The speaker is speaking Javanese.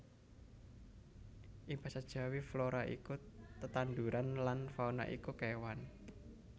Ing basa Jawi flora iku tetandhuran lan fauna iku kewan